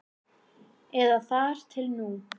Eða þar til nú.